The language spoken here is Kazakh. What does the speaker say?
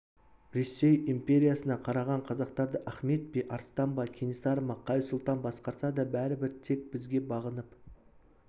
ресей империясына қараған қазақтарды ахмет пе арыстан ба кенесары ма қай сұлтан басқарса да бәрібір тек бізге бағынып